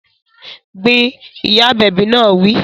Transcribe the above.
Gbin! Ìyá agbẹ̀bi náà wí